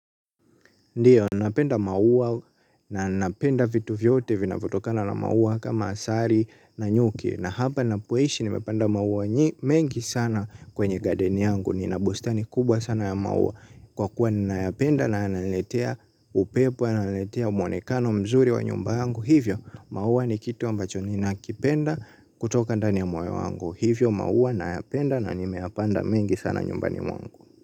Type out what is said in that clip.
Ndiyo, napenda maua na napenda vitu vyote vinavyotokana na maua kama asali na nyuki na hapa ninapoishi nimepanda maua mengi sana kwenye garden yangu nina bustani kubwa sana ya maua kwa kuwa ninayapenda na yananiletea upepo yananiletea mwonekano mzuri wa nyumba yangu kwa hivyo maua ni kitu ambacho ninakipenda kutoka ndani ya moyo wangu hivyo, maua nayapenda na nimeyapanda mengi sana nyumbani mwangu.